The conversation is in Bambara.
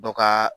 Dɔ ka